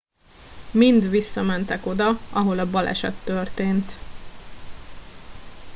mind visszamentek oda ahol a baleset történt